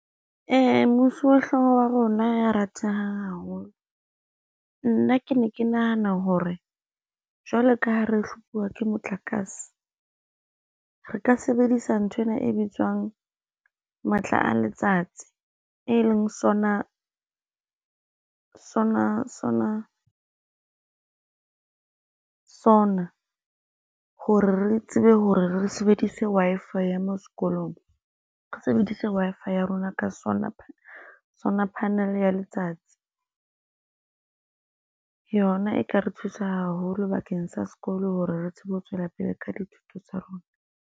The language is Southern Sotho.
Mosuwehlooho wa rona ya ratehang haholo, nna ke ne ke nahana hore jwalo ka ha re hlophuwa ke motlakase, re ka sebedisa nthwena e bitswang matla a letsatsi, e leng sonar hore re tsebe hore re sebedise Wi-Fi ya moo sekolong. Re sebedise Wi-Fi ya rona ka solar panel ya letsatsi, yona e ka re thusa haholo bakeng sa sekolo hore re tsebe ho tswela pele ka dithuto tsa rona.